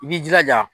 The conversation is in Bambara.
I b'i jilaja